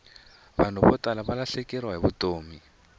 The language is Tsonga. vanhu vo tala valahlekeriwile hi vutomi